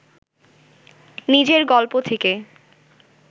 নিজের গল্প থেকে